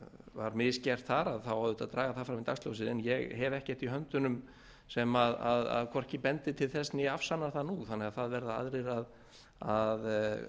var misgert þar þá auðvitað að draga það fram í höndunum sem hvorki bendi til þess né afsannar það nú þannig að það verða aðrir að